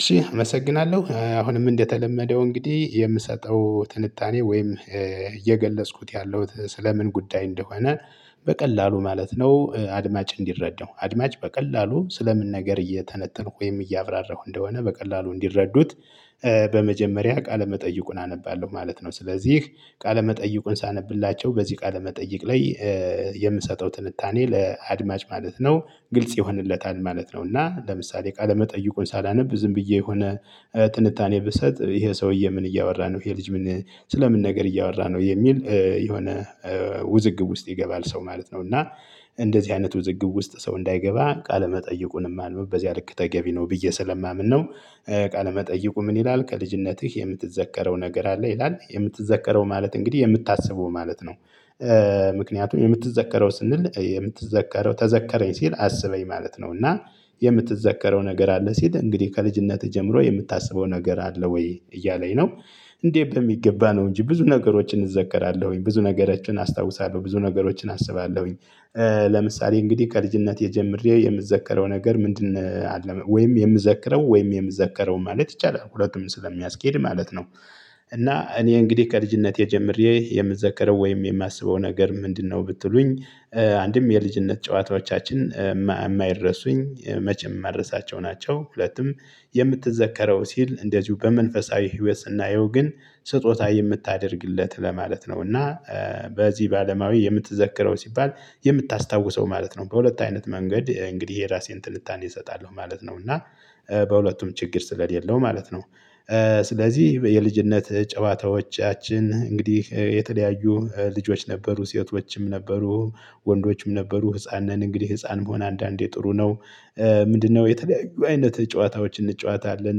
እሺ አመሰግናለሁ አሁንም እንደተለመደው እንግዲህ የምሰጠው ትንታኔ ወይም እየገለጽኩት ያለሁት ስለ ምን ጉዳይ እንደሆነ በቀላሉ ማለት ነው። አድማጭ እንዲረዳው አድማጭ በቀላሉ ስለ ምን ነገር እየተነተንኩ ወይም እያብራራሁ እንደሆነ በቀላሉ እንዲረዱት። በመጀመሪያ ቃለ መጠይቁን አነባለሁ ማለት ነው። ስለዚህ ቃለ መጠይቁን ሳነብላቸው በዚህ ቃለ መጠይቅ ላይ የምሰጠው ትንታኔ ለአድማጭ ማለት ነው። ግልጽ ይሆንለታል ማለት ነው። እና ለምሳሌ ቃለ መጠይቁን ሳላነብ ዝም ብዬ የሆነ ትንታኔ ብሰጥ ይሄ ሰውዬ ምን እያወራ ነው? ይሄ ልጅ ምን ስለ ምን ነገር እያወራ ነው? የሚል የሆነ ውዝግብ ውስጥ ይገባል ሰው ማለት ነው። እና እንደዚህ አይነት ውዝግብ ውስጥ ሰው እንዳይገባ ቃለመጠይቁንም ማንበብ በዚያ ልክ ተገቢ ነው ብዬ ስለማምን ነው። ቃለ መጠይቁ ምን ይላል ከልጅነትህ የምትዘከረው ነገር አለ ይላል? የምትዘከረው ማለት እንግዲህ የምታስበው ማለት ነው። ምክንያቱም የምትዘከረው ስንል የምትዘከረው ተዘከረኝ ሲል አስበኝ ማለት ነው። እና የምትዘከረው ነገር አለ ሲል እንግዲህ ከልጅነትህ ጀምሮ የምታስበው ነገር አለ ወይ እያለኝ ነው? እንዴ በሚገባ ነው እንጂ ብዙ ነገሮችን እዘከራለሁኝ ብዙ ነገሮችን አስታውሳለሁ ብዙ ነገሮችን አስባለሁኝ። ለምሳሌ እንግዲህ ከልጅነቴ ጀምሬ የምዘከረው ነገር ምንድን አለ? ወይም የምዘክረው ወይም የምዘከረው ማለት ይቻላል ሁለቱም ስለሚያስኬድ ማለት ነው። እና እኔ እንግዲህ ከልጅነቴ ጀምሬ የምዘከረው ወይም የማስበው ነገር ምንድነው ብትሉኝ? አንድም የልጅነት ጨዋታዎቻችን የማይረሱኝ መቼም የማልረሳቸው ናቸው። ሁለቱም የምትዘከረው ሲል እንደዚሁ በመንፈሳዊ ህይወት ስናየው ግን ስጦታ የምታደርግለት ለማለት ነው። እና በዚህ በአለማዊ የምትዘከረው ሲባል የምታስታውሰው ማለት ነው። በሁለት አይነት መንገድ እንግዲህ የራሴን ትንታኔ እሰጣለሁ ማለት ነው። እና በሁለቱም ችግር ስለሌለው ማለት ነው። ስለዚህ የልጅነት ጨዋታዎቻችን እንግዲህ የተለያዩ ልጆች ነበሩ ሴቶችም ነበሩ ወንዶችም ነበሩ ህፃን ነን እንግዲህ ህፃን መሆን አንዳንዴ ጥሩ ነው። ምንድነው የተለያዩ አይነት ጨዋታዎችን እንጨዋታለን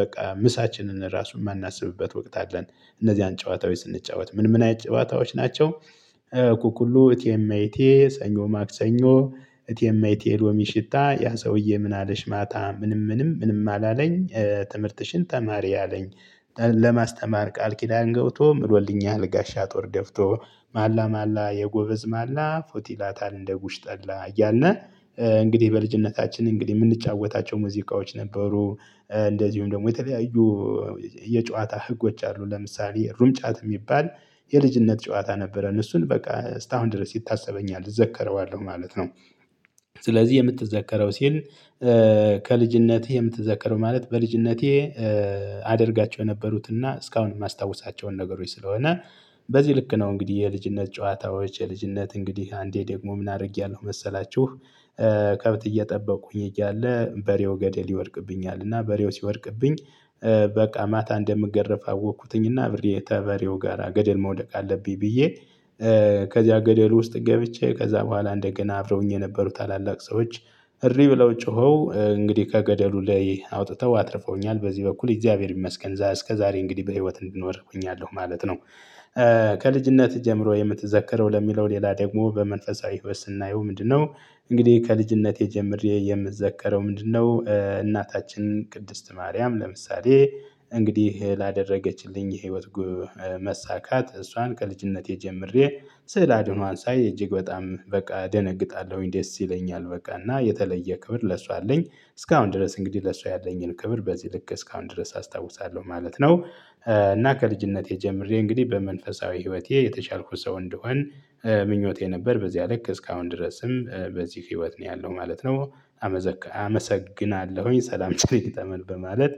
በቃ ምሳችንን ራሱን የማናስብበት ወቅት አለን። እነዚህን ጨዋታው ስንጫወት ምን ምን አይነት ጨዋታዎች ናቸው? ኩኩሉ እቴ እሜቴ ሰኞ ማክሰኞ እቴ እሜቴ የሎሚ ሽታ ያ ሰውዬ ምን አለሽ ማታ ምንም ምንም ምንም አላለኝ። ትምህርትሽን ተማሪ አለኝ። ለማስተማር ቃል ኪዳን ገብቶ ምሎልኛል ጋሻ ጦር ደፍቶ ማላ ማላ የጎበዝ ማላ ፉት ይላታል እንደ ጉሽ ጠላ እያልን። እንግዲህ በልጅነታችን እንግዲህ የምንጫወታቸው ሙዚቃዎች ነበሩ። እንደዚሁም ደግሞ የተለያዩ የጨዋታ ህጎች አሉ ለምሳሌ ሩጫት የሚባል የልጅነት ጨዋታ ነበረን እሱን በቃ እስከ አሁን ድረስ ይታሰበኛል ዘክረዋለሁ ማለት ነው። ስለዚህ የምትዘከረው ሲል። ከልጅነትህ የምትዘከረው ማለት በልጅነቴ አደርጋቸው የነበሩት እና እስካሁን የማስታውሳቸውን ነገሮች ስለሆነ። በዚህ ልክ ነው። እንግዲህ የልጅነት ጨዋታዎች የልጅነት እንግዲህ አንዴ ደግሞ ምን አድርጌያለሁ መሰላችሁ? ከብት እየጠበቁኝ እያለ በሬው ገደል ይወድቅብኛል እና በሬው ሲወድቅብኝ በቃ ማታ እንደምገረፍ አወኩትኝና አብሬ ከበሬው ጋራ ገደል መውደቅ አለብኝ ብዬ። ከዚያ ገደሉ ውስጥ ገብቼ ከዛ በኋላ እንደገና አብረውኝ የነበሩት ታላላቅ ሰዎች እሪ ብለው ጮኸው እንግዲህ ከገደሉ ላይ አውጥተው አትርፈውኛል በዚህ በኩል እግዚአብሔር ይመስገን እስከዛሬ እንግዲህ በህይወት እንድኖር ሁኛለሁ ማለት ነው። ከልጅነት ጀምሮ የምትዘከረው ለሚለው ሌላ ደግሞ በመንፈሳዊ ህይወት ስናየው ምንድነው? እንግዲህ ከልጅነቴ ጀምሬ የምዘከረው ምንድነው? እናታችን ቅድስት ማርያም ለምሳሌ እንግዲህ ላደረገችልኝ የህይወት መሳካት እሷን ከልጅነቴ ጀምሬ ስዕል አድኗን ሳይ እጅግ በጣም በቃ እደነግጣለሁኝ ደስ ይለኛል በቃ እና የተለየ ክብር ለሷ አለኝ። እስካሁን ድረስ እንግዲህ ለሰው ያለኝን ክብር በዚህ ልክ እስካሁን ድረስ አስታውሳለሁ ማለት ነው። እና ከልጅነቴ ጀምሬ እንግዲህ በመንፈሳዊ ህይወቴ የተሻልኩ ሰው እንደሆን ምኞቴ ነበር በዚያ አለክ እስካሁን ድረስም በዚህ ህይወት ነው ያለው ማለት ነው። አመሰግናለሁኝ ሰላም ትሪን በማለት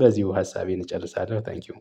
በዚሁ ሀሳቤን እጨርሳለሁ። ታንኪው